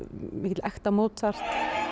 mikill ekta Mozart